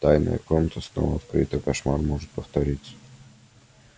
тайная комната снова открыта кошмар может повториться